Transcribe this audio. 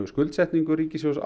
skuldsetningu ríkissjóðs